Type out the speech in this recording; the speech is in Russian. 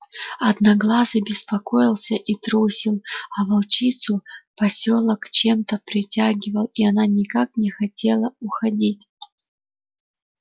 одноглазый беспокоился и трусил а волчицу посёлок чем то притягивал и она никак не хотела уходить